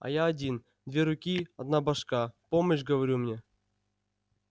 а я один две руки одна башка помощь говорю мне